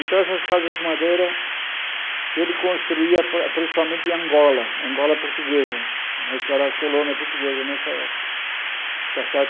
Então essas casas de madeira ele construía para principalmente em Angola, Angola portuguesa, né que era a colônia portuguesa nessa época. Tá certo